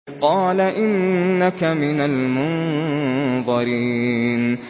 قَالَ إِنَّكَ مِنَ الْمُنظَرِينَ